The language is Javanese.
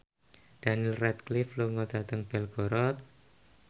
Daniel Radcliffe lunga dhateng Belgorod